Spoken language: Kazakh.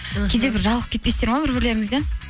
кейде бір жалығып кетпейсіздер ма бір бірлеріңізден